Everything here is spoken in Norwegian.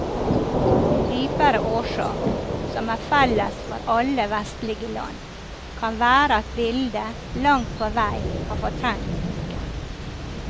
En dypere årsak, som er felles for alle vestlige land, kan være at bildet langt på vei har fortrengt boken.